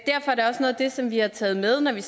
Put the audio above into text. det som vi har taget med når vi